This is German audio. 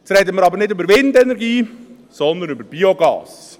Jetzt reden wir aber nicht über Windenergie, sondern über Biogas.